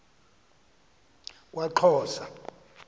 kwaxhosa